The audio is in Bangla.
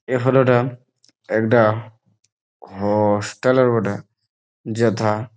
এই ফটো টা একটা হো-ও-ওস্টেলের বটে যেথা--